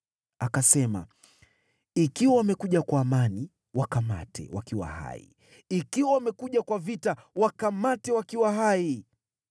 Akasema, “Ikiwa wamekuja kwa amani, wakamate wakiwa hai; ikiwa wamekuja kwa vita, wakamate wakiwa hai.”